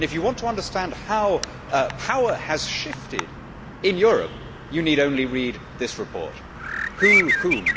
If you want to understand how power has shifted in Europe, you need only read this report. Who whom?',